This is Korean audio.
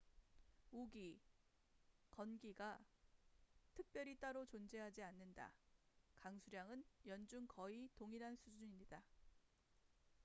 """우기" "건기""가 특별히 따로 존재하지 않는다. 강수량은 연중 거의 동일한 수준이다.